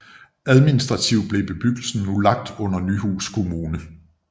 Administrativt blev bebyggelsen nu lagt under Nyhus kommune